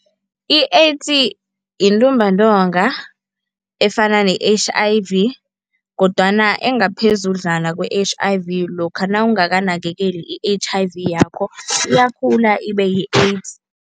I-AIDS yintumbantonga efana ne-H_I_V kodwana engaphezudlwana kwe-H_I_V lokha nawungakanakekeli i-H_I_V yakho, iyakhula ibeyi-AIDS.